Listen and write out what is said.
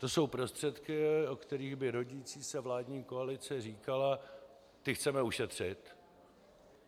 To jsou prostředky, o kterých by rodící se vládní koalice říkala: Ty chceme ušetřit.